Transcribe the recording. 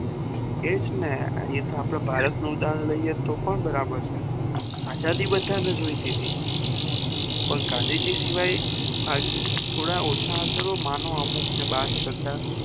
એજ ને એતો આપડું ભારત નું ઉદાહરણ લઈએ તો પણ બરાબર છે આજાદી બધાને જોય્તી હતી પણ ગાંધીજી શિવાય થોડા ઓછા ચાલો માનો અમુક ને બાદ કરતા